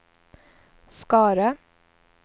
Skara